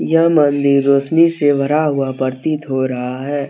यह मंदिर रोशनी से भरा हुआ प्रतीत हो रहा है।